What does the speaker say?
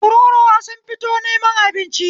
Tururuwa sun fito neman abinci